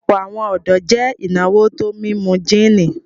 Ọ̀pọ̀lọpọ̀ awọn ọdọ jẹ́ ináwó tó mímú jìní